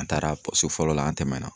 An taara fɔlɔ la an tɛmɛna.